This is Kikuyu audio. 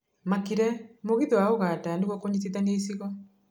Makire mũgithi wa Uganda nĩguo kũnyitithania icigo.